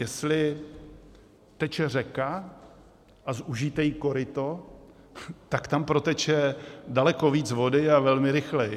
Jestli teče řeka a zúžíte jí koryto, tak tam proteče daleko víc vody a velmi rychle.